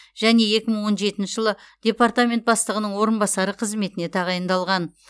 және екі мың он жетінші жылы департамент бастығының орынбасары қызметіне тағайындалған